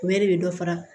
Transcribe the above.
U bɛ de bɛ dɔ fara